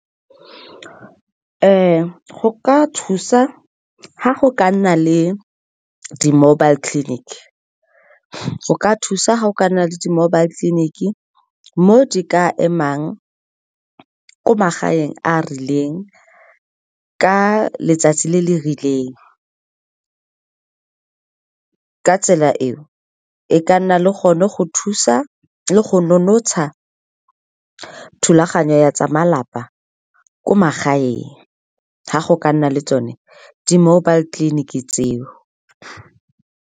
Go ka thusa ga go ka nna le di-mobile clinic-e, go ka thusa ga go ka nna le di-mobile clinic-e mo di ka emang ko magaeng a a rileng ka letsatsi le le rileng. Ka tsela eo, e ka nna le gone go thusa le go nonotsha thulaganyo ya tsa malapa ko magaeng, ga go ka nna le tsone di-mobile clinic-e tseo